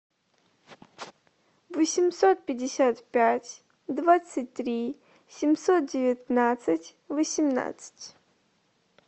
восемьсот пятьдесят пять двадцать три семьсот девятнадцать восемнадцать